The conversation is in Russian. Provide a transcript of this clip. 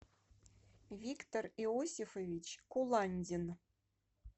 виктор иосифович куландин